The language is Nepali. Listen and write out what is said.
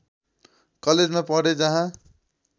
कलेजमा पढे जहाँ